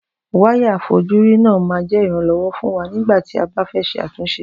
Wáyà àfojúrí náà máa jẹ́ ìrànlọ́wọ́ fún wa nígbàtí abá fẹ́ ṣe àtúnṣe